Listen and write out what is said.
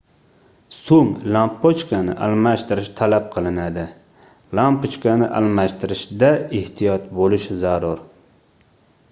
soʻng lampochkani almashtirish talab qilinadi lampochkani almashtirishda ehtiyot boʻlish zarur